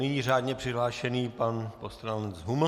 Nyní řádně přihlášený pan poslanec Huml.